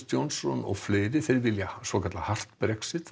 Johnson og fleiri sem vilja svokallað hart Brexit